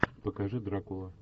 покажи дракула